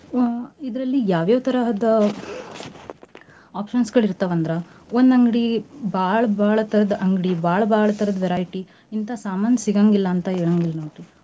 ಇದ್ರಲ್ಲಿ ಯಾವ್ ಯಾವ್ ತರಹದ್ದ options ಗಳ ಇರ್ತಾವ್ ಅಂದ್ರ ಒಂದ್ ಅಂಗ್ಡಿ ಬಾಳ್ ಬಾಳ್ ತರದ್ ಅಂಗ್ಡಿ ಬಾಳ್ ಬಾಳ್ ತರದ variety ಇಂತಾ ಸಮಾನ್ ಸಿಗಂಗಿಲ್ಲಾ ಅಂತ ಹೇಳಂಗಿಲ್ಲ ನೋಡ್ರಿ.